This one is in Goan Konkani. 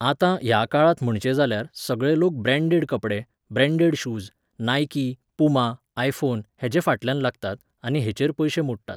आतां, ह्या काळांत म्हणचें जाल्यार, सगळे लोक ब्रॅन्डेड कपडे, branded shoes, Nike, Puma, iPhone हेजे फाटल्यान लागतात आनी हेचेर पयशे मोडटात.